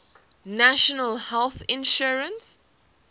national health insurance